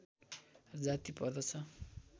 जाति पर्दछ